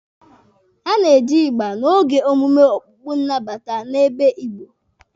A na-eji ịgba n'oge omume okpukpe nnabata n'ebo Igbo.